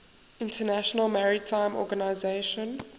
international maritime organization